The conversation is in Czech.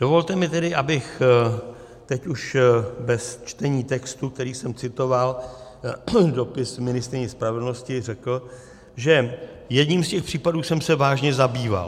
Dovolte mi tedy, abych teď už bez čtení textu, který jsem citoval, dopis ministryni spravedlnosti, řekl, že jedním z těch případů jsem se vážně zabýval.